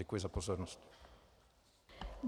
Děkuji za pozornost.